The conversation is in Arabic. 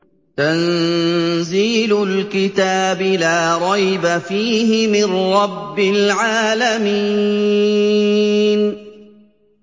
تَنزِيلُ الْكِتَابِ لَا رَيْبَ فِيهِ مِن رَّبِّ الْعَالَمِينَ